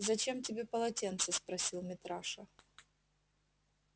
зачем тебе полотенце спросил митраша